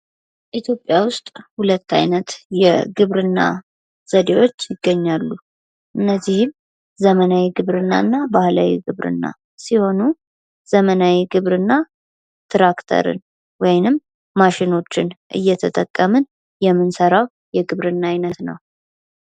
ኢትዮጵያ ውስጥ ሁለት አይነት የግብርና ዘዴዎች ይገኛሉ እነዚህም ዘመናዊ ግብርናና ባህላዊ ግብርና ሲሆኑ ዘመናዊ ግብርና ትራክተርን ወይም ማሸኖችን እየጠቀመ የምንሠራው የግብርና አይነት ነው።